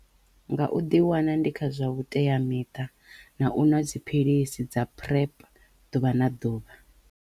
Nga u ḓi wana ndi kha zwa vhuteamiṱa na u nwa dziphilisi dza PrEP ḓuvha na ḓuvha.